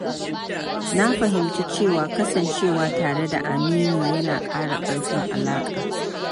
Na fahimci cewa kasancewa tare da amini yana ƙara ƙarfin alaƙa.